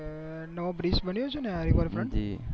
નવો bridge બન્યો છે ને આ river front જિ